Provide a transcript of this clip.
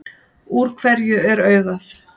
Úr hverju er augað?